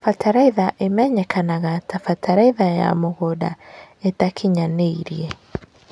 bataraitha imenyekanaga ta bataraitha ya mũgũnda ĩtakinyanĩire